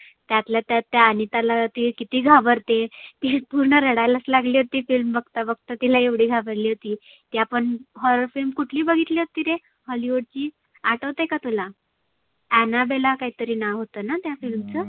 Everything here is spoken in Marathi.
त्यातल्या त्यात त्या आनिताला ती किती घाबरते. पुर्ण रडायलाच लागली होती ती film बघता बघता. तिला एवढी घाबरली होती. ती आपण horror film कुठली बघितली होती रे? hollywood ची आठवतय का तुला? Anabela काहितरी नाव होतना त्या film चं.